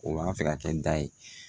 O b'an fɛ ka kɛ da ye